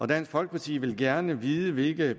dansk folkeparti vil gerne vide hvilke